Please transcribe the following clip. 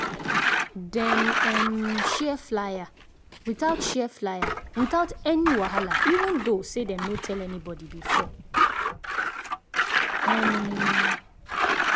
dem um share flyer without share flyer without any wahala even though say dem no tell anybody before. um